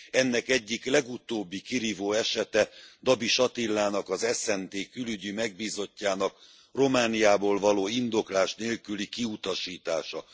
Ennek egyik legutóbbi, kirívó esete Dabis Attilának, az SZNT külügyi megbízottjának Romániából való indoklás nélküli kiutasítása.